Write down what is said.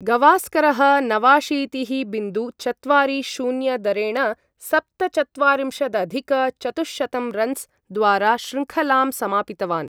गवास्करः नवाशीतिः बिन्दु चत्वारि शून्य दरेण सप्तचत्वारिंशदधिक चतुःशतं रन्स् द्वारा श्रृङ्खलां समापितवान्।